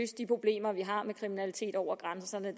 de problemer vi har med kriminalitet over grænserne